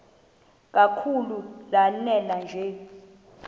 kakhulu lanela nje